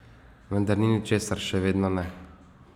Vendar ni ničesar, še vedno ne.